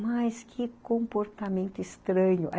Mas que comportamento estranho.